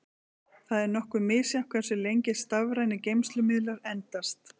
Það er nokkuð misjafnt hversu lengi stafrænir geymslumiðlar endast.